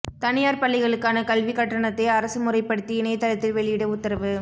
தனியார் பள்ளிகளுக்கான கல்விக் கட்டணத்தை அரசு முறைப்படுத்தி இணையதளத்தில் வெளியிட உத்தரவு